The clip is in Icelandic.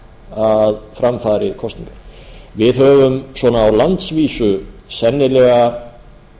að fram fari kosningar við höfum svona á landsvísu sennilega